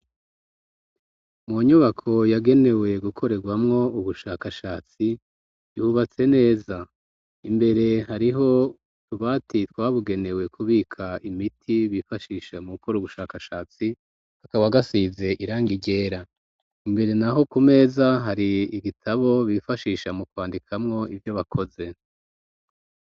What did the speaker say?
Mu nyubako yagenewe gukorerwamwo ubushakashatsi yubatse neza, imbere hariho utubati twabugenewe kubika imiti bifashisha mu gukora ubushakashatsi kakaba gasize irangi ryera, imbere naho ku meza hari igitabo bifashisha mu kwandikamwo ivyo bakoze.